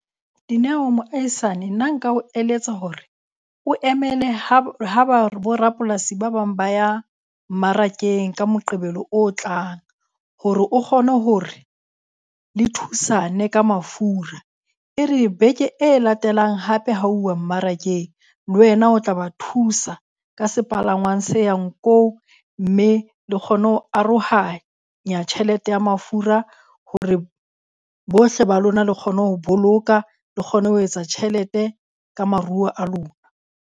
Dineo moahisane nna nka o eletsa hore o emele ha bo rapolasi ba bang ba ya mmarakeng ka Moqebelo o tlang hore o kgone hore le thusane ka mafura. E re beke e latelang hape ha houwa mmarakeng le wena o tla ba thusa ka sepalangwang se yang ko. Mme e le kgone ho arohanya tjhelete ya mafura hore bohle ba lona le kgone ho boloka, le kgone ho etsa tjhelete ka maruo a lona.